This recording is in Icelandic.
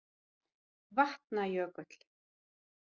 Vatna- jökull